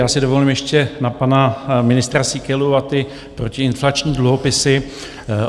Já si dovolím ještě na pana ministra Síkelu a ty protiinflační dluhopisy.